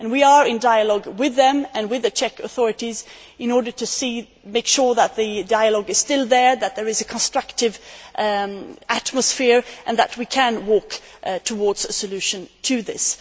We are in dialogue with them and with the Czech authorities in order to make sure that the dialogue is still there, that there is a constructive atmosphere, and that we can move towards a solution to this.